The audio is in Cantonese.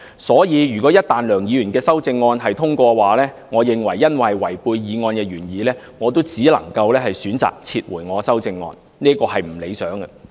所以，一旦梁議員的修正案獲得通過，因為違背了原議案的原意，我只能夠選擇撤回我的修正案，這是不理想的。